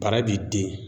Bara b'i den